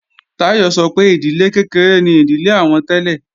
Táyọ̀ sọ pé ìdílé kékeré ni ìdílé àwọn tẹ́lẹ̀